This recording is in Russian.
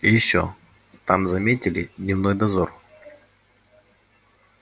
и ещё там заметили дневной дозор